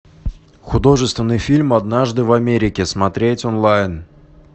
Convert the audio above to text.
художественный фильм однажды в америке смотреть онлайн